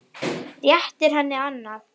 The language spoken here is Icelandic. Réttir henni annað.